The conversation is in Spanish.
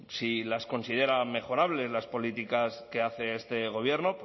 si las considera mejorables las políticas que hace este gobierno